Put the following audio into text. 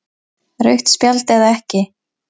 Rautt spjald eða ekki?